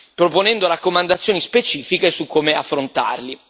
proponendo raccomandazioni specifiche su come affrontarli.